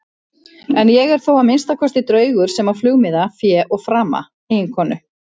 En ég er þó að minnsta kosti draugur sem á flugmiða, fé og frama, eiginkonu.